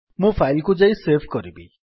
ମୁଁ ଫାଇଲ୍ କୁ ଯାଇ ସେଭ୍ କରିବି